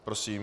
Prosím.